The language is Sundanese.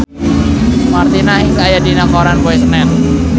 Martina Hingis aya dina koran poe Senen